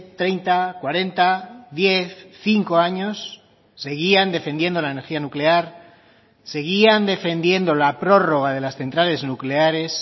treinta cuarenta diez cinco años seguían defendiendo la energía nuclear seguían defendiendo la prórroga de las centrales nucleares